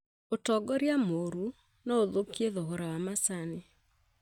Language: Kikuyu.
ũtongoria mũru noũthũkie thogora wa macani